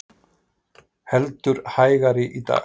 Heldur hægari í dag